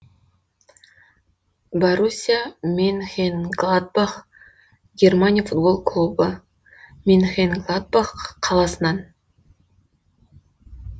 боруссия менхенгладбах германия футбол клубы менхенгладбах қаласынан